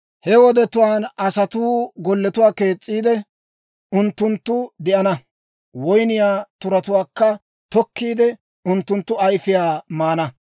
He wodetuwaan asatuu golletuwaa kees's'iide, unttunttun de'ana; woyniyaa turatuwaakka tokkiide, unttunttu ayfiyaa maana.